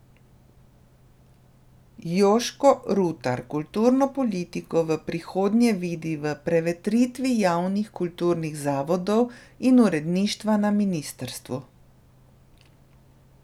Jožko Rutar kulturno politiko v prihodnje vidi v prevetritvi javnih kulturnih zavodov in uradništva na ministrstvu.